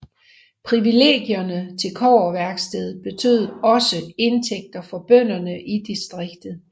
Privilegierne til kobberværket betød også indtægter for bønderne i distriktet